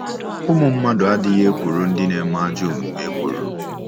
Ụmụ mmadụ ‘adịghị ekworo ndị na-eme ajọ omume ekworo’.